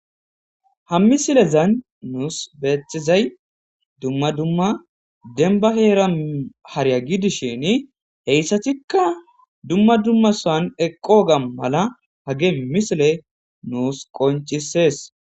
ha misilezan nuus beetizay dumma dumma denba heera hariya gidishin heyssatikka dumma dumma san eqqoga mala hage misile nuus qoncisees